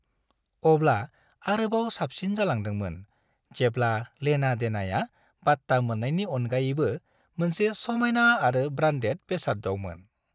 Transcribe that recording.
अब्ला आरोबाव साबसिन जालांदोंमोन जेब्ला लेना देनाया बाट्टा मोन्नायनि अनगायैबो मोनसे समायना आरो ब्रान्डेद बेसादावमोन।